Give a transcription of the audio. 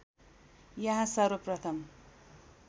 यहाँ सर्वप्रथम